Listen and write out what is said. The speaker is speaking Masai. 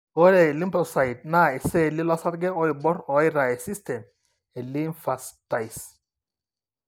Ore iLymphocytes, naa iceelli losarge oibor oitaa esystem elymphatice.